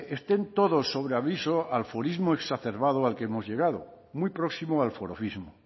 estén todos sobre aviso al forismo exacerbado al que hemos llegado muy próximo al forofismo